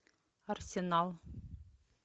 арсенал